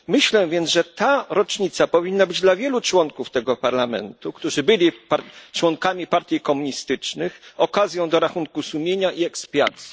Myślę więc, że ta rocznica powinna być dla wielu członków tego Parlamentu, którzy byli członkami partii komunistycznych, okazją do rachunku sumienia i ekspiacji.